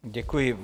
Děkuji.